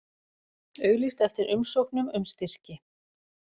Auglýst eftir umsóknum um styrki